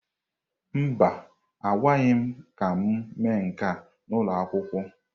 Mba, agwaghị m ka m mee nke a n'ụlọ akwụkwọ.